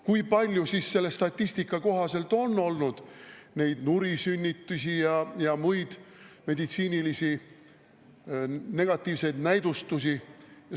Kui palju selle statistika kohaselt on olnud nurisünnitusi ja muid meditsiinilisi negatiivseid näidustusi?